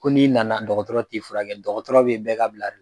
Ko n'i nana dɔgɔtɔrɔ t'i furakɛ, dɔgɔtɔrɔ be bɛɛ ka bila